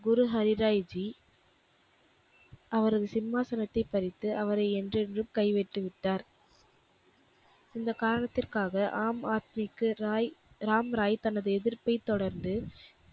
குரு ஹரிராய் ஜி அவரது சிம்மாசனத்தைப் பறித்து அவரை என்றென்றும் கைவிட்டு விட்டார். இந்தக் காரணத்திற்க்காக ஆம் ஆத்மிக்கு ராய் ராம்ராய் தனது எதிர்ப்பைத் தொடர்ந்து,